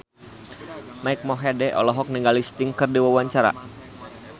Mike Mohede olohok ningali Sting keur diwawancara